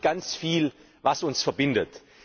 Ich glaube, es gibt ganz viel, was uns verbindet.